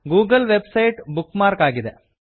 Google website bookmark ಆಗಿದೆ